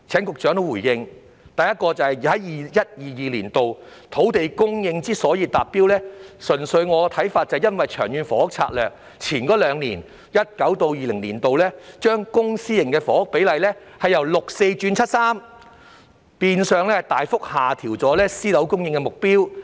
第一點是 ，2021-2022 年度的土地供應能夠達標，純粹由於《長策》在前兩年，即是在 2019-2020 年度起，把公私營房屋供應比例，由六四比改為七三比，變相大幅下調了私樓供應的目標。